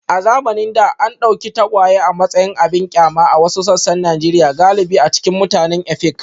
A zamanin da, an dauki tagwaye a matsayin abin kyama a wasu sassan Najeriya galibi a cikin mutanen Efik.